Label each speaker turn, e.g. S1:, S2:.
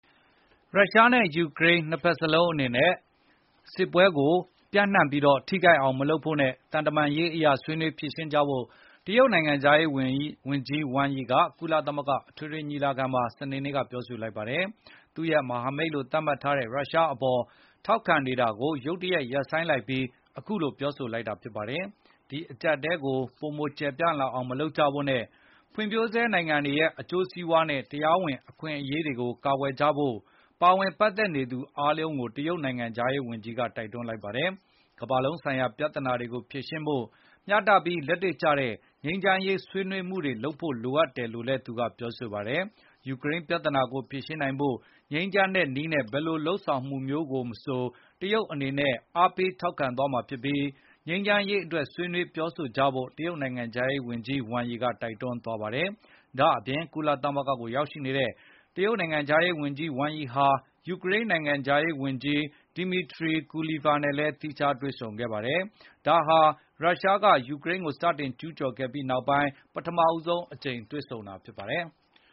S1: ရုရားနဲ့ယူကရိန်းနှစ်စ်ဘက်စလုံးအနေနဲ့ စစ်ပွဲကိုပိုမိုပြန့်နှံပြီးထိခိုက်အောင်မလုပ်ဖို့ နဲ့ သံတမန်ရေးအရဆွေးနွေး ဖြေရှင်းကြဖို့ တရုတ်နိုင်ငံခြားရေးဝန်ကြီးဝမ်ရီကကုလ သမဂ္ဂအထွေထွေညီလာခံမှာစနေနေ့ကပြောဆိုလိုက်ပါတယ်။ သူ့ရဲ့မဟာမိတ်လို့သတ်မှတ်ထားတဲ့ရုရှားအပေါ်ထောက်ခံနေတာကို ရုတ်တရက်ရပ်ဆိုင်းလိုက်ပြီး အခုလိုပြောဆိုလိုက် တာပါ။ ဒီအကြပ်အတည်းကိုပိုမိုကျယ်ပြန်လာအောင်မလုပ်ကြဖို့နဲ့ ဖွံ့ဖြိုးဆဲနိုင်ငံတွေရဲ့အကျိုးစီးပွားနဲ့ တရားဝင်အခွင့်အရေး တွေကိုကာကွယ်ကြဖို့ ပါဝင်ပတ်သက်နေသူတွေအားလုံးကိုတရုတ်နိုင်ငံခြားရေးဝန်ကြီးကတိုက်တွန်းလိုက်ပါတယ်။ ကမ္ဘာလုံးဆိုင်ရာ ပြဿနာတွေကိုဖြေရှင်းဖို့ မျှတပြီးလက်တွေကျတဲ့ ငြိမ်းချမ်းရေးဆွေးနွေးမှုတွေလိုအပ်တယ်လို့လည်း သူကပြောဆိုခဲ့ပါတယ်။ ယူကရိန်းပြဿနာကိုငြိမ်းချမ်းစွာဖြေရှင်းနိုင်ဖို့ ဘယ်လိုလုပ်ဆောင်မှုမျိုးကိုမဆိုတရုတ်အနေနဲ့ အားပေးထောက်ခံ သွားမှာဖြစ်ပြီး၊ ငြိမ်းချမ်းရေးအတွက်ဆွေးနွေးပြောဆိုကြဖို့ တရုတ်နိုင်ငံခြားရေးဝန်ကြီး ဝမ်ရီကတိုက်တွန်းသွားပါတယ်။ ဒါ့အပြင်ကုလသမဂ္ဂကိုရောက်ရှိနေတဲ့တရုတ်နိုင်ငံခြားရေးဝန်ကြီး ဝမ်ရီဟာ ယူကရိန်းနိုင်ငံခြားရေးဝန်ကြီး Dmytro Kuleba နဲ့သီးခြားတွေဆုံခဲ့ပါတယ်၊ ဒါဟာ ရုရှားကယူကရိန်းကိုစတင်ကျူးကျော်ခဲ့ပြီးနောက်ပထမဆုံးအကြိမ် တွေ့ဆုံတာဖြစ်ပါတယ်။